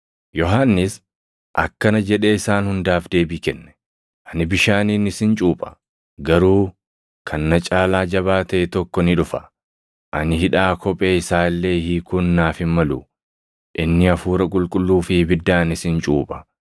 Yohannis akkana jedhee isaan hundaaf deebii kenne; “Ani bishaaniin isin cuupha. Garuu kan na caalaa jabaa taʼe tokko ni dhufa; ani hidhaa kophee isaa illee hiikuun naaf hin malu. Inni Hafuura Qulqulluu fi ibiddaan isin cuupha.